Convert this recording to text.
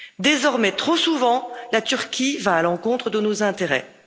Désormais trop souvent, la Turquie va à l'encontre de nos intérêts.